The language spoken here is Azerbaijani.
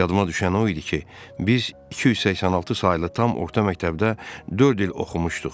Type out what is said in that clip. Yadıma düşən o idi ki, biz 286 saylı tam orta məktəbdə dörd il oxumuşduq.